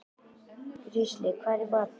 Heisi, hvað er í matinn?